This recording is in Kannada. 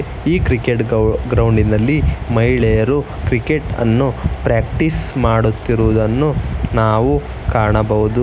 ಈ ಕ್ರಿಕೆಟ್ ಗ್ರೌಂಡಿ ನಲ್ಲಿ ಮಹಿಳೆಯರು ಕ್ರಿಕೆಟ್ ಅನ್ನು ಪ್ರಾಕ್ಟೀಸ್ ಮಾಡುತ್ತಿರುವುದನ್ನು ನಾವು ಕಾಣಬಹುದು.